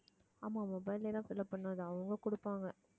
ஆமா mobile ல எல்லாம் fill up பண்ணாதே அவங்க கொடுப்பாங்க